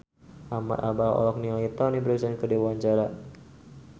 Ahmad Albar olohok ningali Toni Brexton keur diwawancara